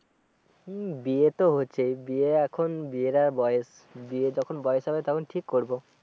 হম বিয়ে তো হচ্ছেই বিয়ে এখন বিয়ের আর বয়স বিয়ের যখন বয়স হবে তখন ঠিক করবো